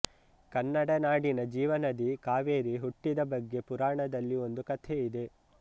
ಕನ್ನಡನಾಡಿನ ಜೀವನದಿ ಕಾವೇರಿ ಹುಟ್ಟಿದ ಬಗ್ಗೆ ಪುರಾಣದಲ್ಲಿ ಒಂದು ಕಥೆ ಇದೆ